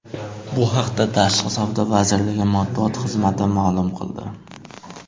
Bu haqda Tashqi savdo vazirligi matbuot xizmati ma’lum qildi .